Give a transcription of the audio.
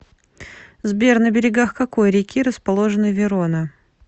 сбер на берегах какой реки расположена верона